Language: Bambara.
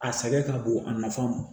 A sɛgɛn ka bon a nafan ma